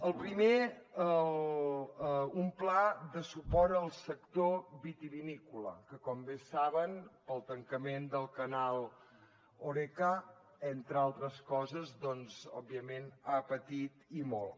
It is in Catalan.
el primer un pla de suport al sector vitivinícola que com bé saben pel tancament del canal horeca entre altres coses doncs òbviament ha patit i molt